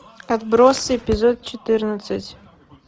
отбросы эпизод четырнадцать